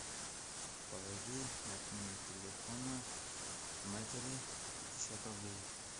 положи на номер телефона матери пятьдесят рублей